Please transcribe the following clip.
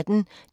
DR P1